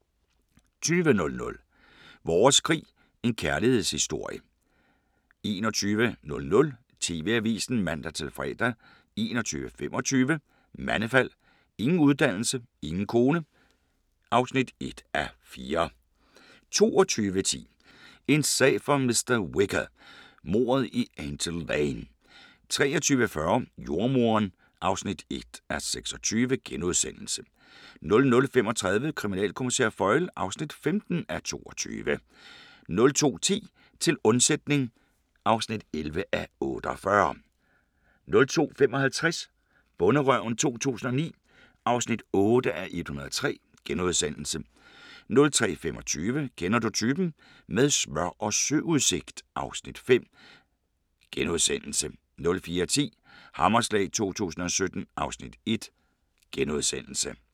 20:00: Vores krig – en kærlighedshistorie 21:00: TV-avisen (man-fre) 21:25: Mandefald – ingen uddannelse, ingen kone (1:4) 22:10: En sag for mr. Whicher: Mordet i Angel Lane 23:40: Jordemoderen (1:26)* 00:35: Kriminalkommissær Foyle (15:22)* 02:10: Til undsætning (11:48) 02:55: Bonderøven 2009 (8:103)* 03:25: Kender du typen? - med smør og søudsigt (Afs. 5)* 04:10: Hammerslag 2017 (Afs. 1)*